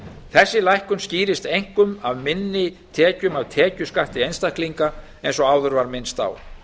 þessi lækkun skýrist einkum af minni tekjum af tekjuskatti einstaklinga eins og áður var minnst á